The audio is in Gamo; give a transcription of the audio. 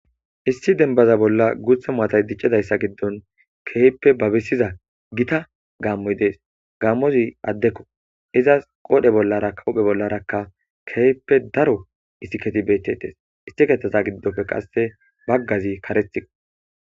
issi denbaza bolla guutha maatay diccidayssa giddon keeyppe babisiza gita gaammoy dees gaammozi addekko izas qoodhe bollara kawuphe bollarakka keeyppe daro isiketi bettettes issi keththaza giddopfe qasse baggazi karethio